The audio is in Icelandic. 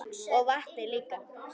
Og vatnið líka.